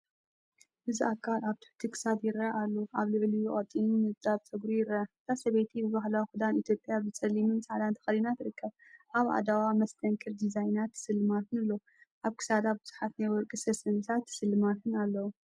እዚ ኣካል ኣብ ትሕቲ ክሳድ ይረአ ኣሎ። ኣብ ልዕሊኡ ቀጢን ንጣብ ጸጉሪ ይርአ። እታ ሰበይቲ ብባህላዊ ክዳን ኢትዮጵያ ብጸሊምን ጻዕዳን ተኸዲና ትርከብ። ኣብ ኣእዳዉ መስተንክር ዲዛይናት ስልማትን ኣሎ። ኣብ ክሳዳ ብዙሓት ናይ ወርቂ ሰንሰለታትን ስልማትን ኣለዉ።